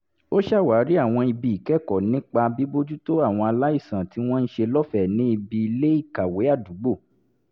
ó ṣàwárí àwọn ibi ìkẹ́kọ̀ọ́ nípa bíbójútó àwọn aláìsàn tí wọ́n ń ṣe lọ́fẹ̀ẹ́ ní ibi ilé-ìkàwé àdúgbò